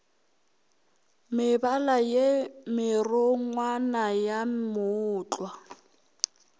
mebala ye merongwana ya mootlwa